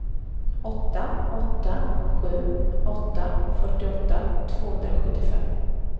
åtta åtta sju åtta fyrtioåtta tvåhundrasjuttiofem